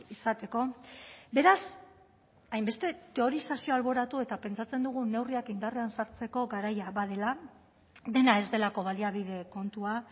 izateko beraz hainbeste teorizazio alboratu eta pentsatzen dugu neurriak indarrean sartzeko garaia badela dena ez delako baliabide kontua